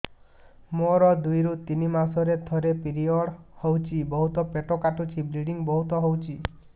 ମୋର ଦୁଇରୁ ତିନି ମାସରେ ଥରେ ପିରିଅଡ଼ ହଉଛି ବହୁତ ପେଟ କାଟୁଛି ବ୍ଲିଡ଼ିଙ୍ଗ ବହୁତ ହଉଛି